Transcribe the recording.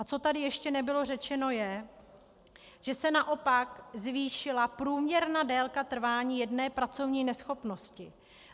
A co tady ještě nebylo řečeno, je, že se naopak zvýšila průměrná délka trvání jedné pracovní neschopnosti.